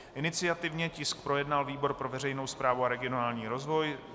Iniciativně tisk projednal výbor pro veřejnou správu a regionální rozvoj.